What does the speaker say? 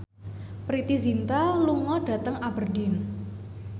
Preity Zinta lunga dhateng Aberdeen